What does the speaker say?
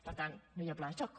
per tant no hi ha pla de xoc